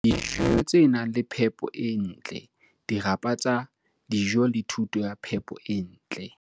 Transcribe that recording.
letsi, dijo tse nang le phepo e ntle, dirapa tsa dijo le thuto ya phepo e ntle.